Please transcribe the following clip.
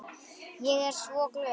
Ég er svo glöð.